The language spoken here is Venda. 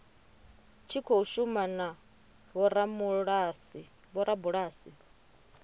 tshi khou shuma na vhorabulasi